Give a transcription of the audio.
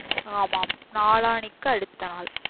ஆமாம் நாளானைக்கு அடுத்த நாள்